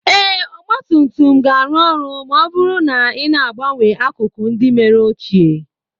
Ee, ọgba tum tum ga-arụ ọrụ ma ọ bụrụ na ị na-agbanwe akụkụ ndị mere ochie